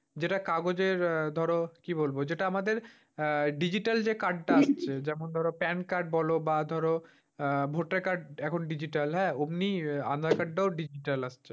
যেটা কাগজের ধর আহ কি বলবো? যেটা আমদের আহ digital card টা যেমন ধর pan-card বল বা ধর আহ votar-card এখন digital ওমনি আধার-কার্ডটাও digital আসছে।